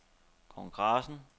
kongressen